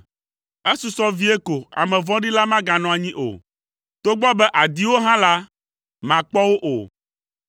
Esusɔ vie ko ame vɔ̃ɖi la maganɔ anyi o, togbɔ be àdi wo hã la, màkpɔ wo o.